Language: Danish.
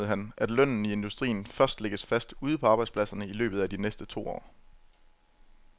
I stedet betonede han, at lønnen i industrien først lægges fast ude på arbejdspladserne i løbet af de næste to år.